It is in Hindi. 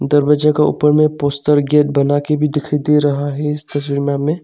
दरवाजे के ऊपर में पोस्टर गेट बनाकर भी दिखाई दे रहा है इस तस्वीर में हमे।